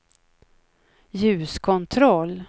ljuskontroll